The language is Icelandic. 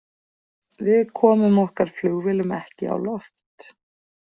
Við komum okkar flugvélum ekki á loft.